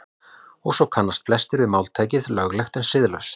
Og svo kannast flestir við máltækið löglegt en siðlaust.